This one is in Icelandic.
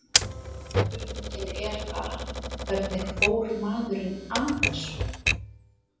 Spurningin er bara, hvernig fór maðurinn að þessu?